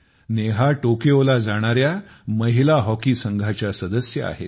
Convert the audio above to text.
नेहा टोकियोला जाणाऱ्या महिला हॉकी संघाच्या सदस्य आहेत